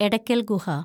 Edakkal‍ Guha